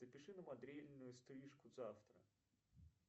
запиши на модельную стрижку завтра